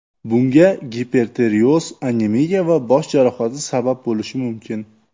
Bunga gipertireoz, anemiya va bosh jarohati sabab bo‘lishi mumkin.